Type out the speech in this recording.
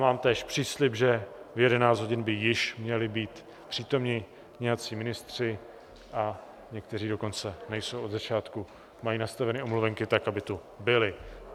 Mám též příslib, že v 11 hodin by již měli být přítomni nějací ministři, a někteří dokonce nejsou od začátku, mají nastaveny omluvenky tak, aby tu byli.